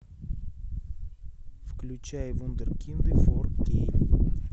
включай вундеркинды фор кей